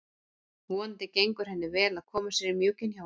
Vonandi gengur henni vel að koma sér í mjúkinn hjá honum.